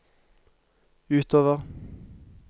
utover